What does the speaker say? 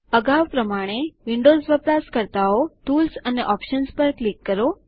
અગાઉ પ્રમાણે વિન્ડોઝ વપરાશકર્તાઓ ટૂલ્સ અને ઓપ્શન્સ પર ક્લિક કરો